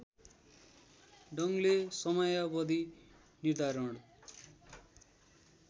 ढङ्गले समयावधि निर्धारण